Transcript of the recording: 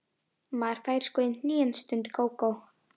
Maður fær sko í hnén, stundi Gógó.